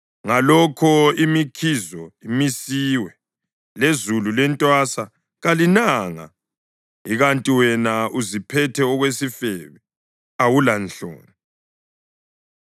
Ngalokho imikhizo imisiwe, lezulu lentwasa kalinanga. Ikanti wena uziphethe okwesifebe, awulanhloni.